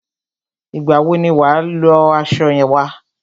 Ìgbà wọ ni wà á lọ aṣọ wa?